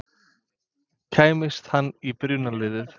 Kæmist hann í byrjunarliðið?